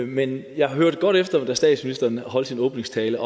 men jeg hørte godt efter da statsministeren holdt sin åbningstale